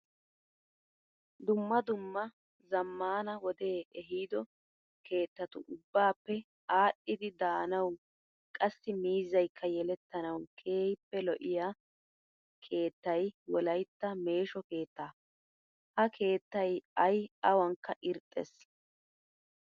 Dumma dummaa zammaana wode ehiido keettatu ubbaappe aadhdhidi daanaawu qassi miizzayikka yelettanawu keehippe lo'iyaa keettay wolayitta meeshsho keettaa. Ha keettayi ayi awankka irxxes.